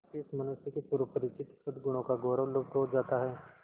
इस मनुष्य के पूर्व परिचित सदगुणों का गौरव लुप्त हो जाता है